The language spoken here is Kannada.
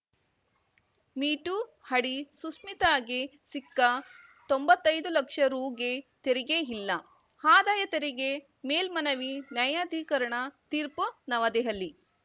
ಮೀ ಟೂ ಹಡಿ ಸುಶ್ಮಿತಾಗೆ ಸಿಕ್ಕ ತೊಂಬತ್ತೈದು ಲಕ್ಷ ರುಗೆ ತೆರಿಗೆ ಇಲ್ಲ ಆದಾಯ ತೆರಿಗೆ ಮೇಲ್ಮನವಿ ನ್ಯಾಯಾಧಿಕರಣ ತೀರ್ಪು ನವದೆಹಲಿ